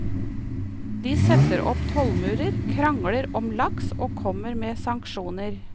De setter opp tollmurer, krangler om laks og kommer med sanksjoner.